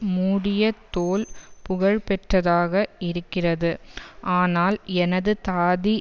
மூடிய தோல் புகழ் பெற்றதாக இருக்கிறது ஆனால் எனது தாதி